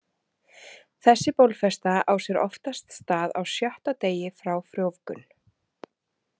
Þessi bólfesta á sér oftast stað á sjötti degi frá frjóvgun.